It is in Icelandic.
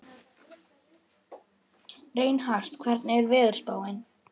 Reinhart, hvernig er veðurspáin?